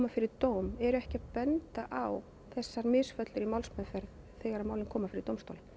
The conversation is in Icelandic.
fyrir dóm eru ekki að benda á þessar misfellur í málsmeðferð þegar málin koma fyrir dómstóla